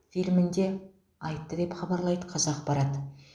фильмінде айтты деп хабарлайды қазақпарат